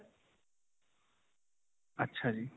ਅੱਛਾ ਜੀ.